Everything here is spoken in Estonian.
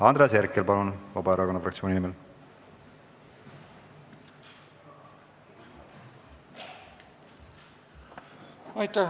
Andres Herkel, palun, Vabaerakonna fraktsiooni nimel!